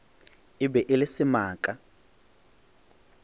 e be e le semaka